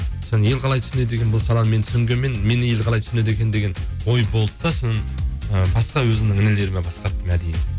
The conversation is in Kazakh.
ел қалай түснеді екен бұл саланы мен түсінгенмен мені ел қалай түсінеді екен деген ой болды да соны ы басқа өзімнің інілеріме басқарттым әдейі